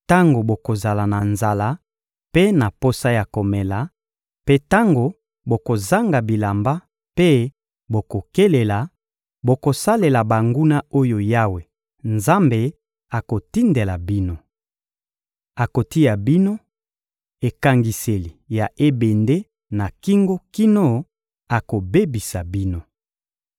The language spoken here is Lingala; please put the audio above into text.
tango bokozala na nzala mpe na posa ya komela, mpe tango bokozanga bilamba mpe bokokelela, bokosalela banguna oyo Yawe Nzambe akotindela bino. Akotia bino ekangiseli ya ebende na kingo kino akobebisa bino.